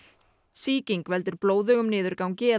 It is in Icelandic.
sýking veldur blóðugum niðurgangi